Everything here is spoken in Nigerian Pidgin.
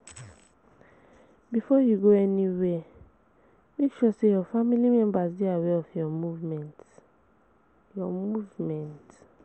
Before you go anywhere make sure say your family members dey aware of your movement your movement